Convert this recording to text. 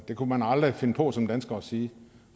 det kunne man aldrig finde på som dansker at sige